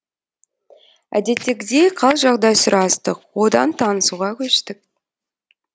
әдеттегідей қал жағдай сұрастық одан танысуға көштік